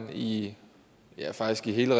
vi lige præcis ville